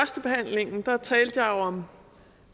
tak talte jeg om